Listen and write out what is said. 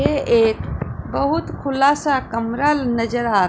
यहां एक बहुत खुलासा कमरा नजर आ--